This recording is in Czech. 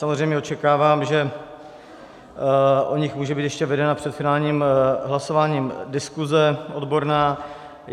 Samozřejmě očekávám, že o nich může být ještě vedena před finálním hlasováním diskuze odborná.